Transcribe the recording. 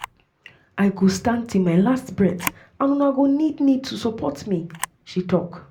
"i go stand till my last breath and una need need to support um me" she tok.